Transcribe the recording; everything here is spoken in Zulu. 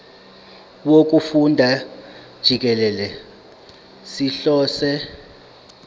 wokufunda jikelele sihlose